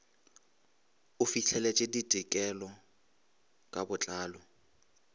o fihleletše ditekolo ka botlalo